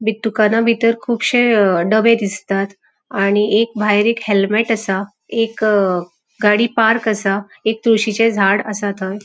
बित दुकानाबितर कुबशे अ डबे दिसतात आणि एक भायर एक हेल्मेट असा एक गाड़ी पार्क असा. एक तुळशीचे झाड असा थंय.